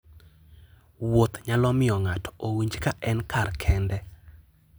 Wuoth nyalo miyo ng'ato owinj ka en kar kende.